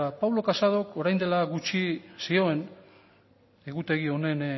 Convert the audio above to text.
pablo casadok orain dela gutxi zioen egutegi honen